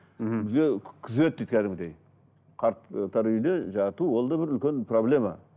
мхм күзетті кәдімгідей қарттар үйіне жату ол да бір үлкен проблема